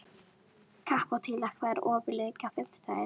Kapitola, hvað er opið lengi á fimmtudaginn?